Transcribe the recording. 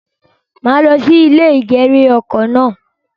Màá lo sí ilè ìgèrè oko náà